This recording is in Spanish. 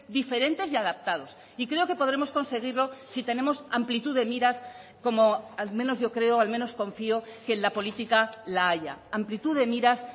diferentes y adaptados y creo que podremos conseguirlo si tenemos amplitud de miras como al menos yo creo al menos confío que en la política la haya amplitud de miras